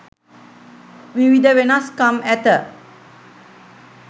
විවිධ වෙනස්කම් ඇත.